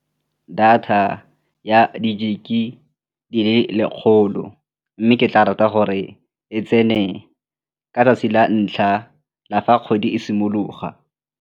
Data ya di-gig-e di le lekgolo mme ke tla rata gore e tsene ka 'tsatsi la ntlha la fa kgwedi e simologa.